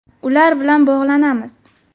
Ular bilan bog‘lanamiz.